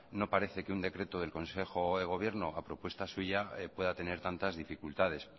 no parece que un decreto del consejo de gobierno a propuesta suya pueda tener tantas dificultades